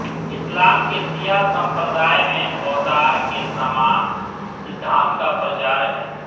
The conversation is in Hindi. इसलाम के शिया संप्रदाय में अवतार के समान सिद्धांत का प्रचार है